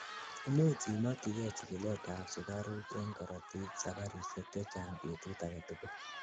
imuch imokyigei chikilet ab sugaruk en korotik sabarishek chechang betut agetugul